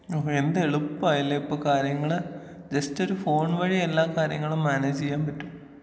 ഓഹോ എന്തെളുപ്പാലെ ഇപ്പൊ കാര്യങ്ങള് ജസ്റ്റ് ഒരു ഫോൺ വഴി എല്ലാ കാര്യങ്ങളും മാനേജീയ്യാൻ പറ്റും.